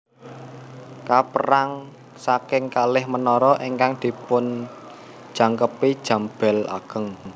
Kapérang saking kalih menara ingkang dipunjangkepi jam bél ageng